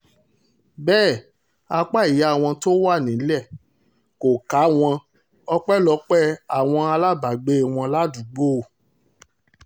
bẹ́ẹ̀ apá ìyá wọn tó wà nílẹ̀ kò ká wọn ọpẹ́lọpẹ́ àwọn alábàágbé wọn ládùúgbò